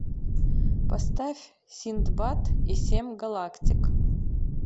поставь синдбад и семь галактик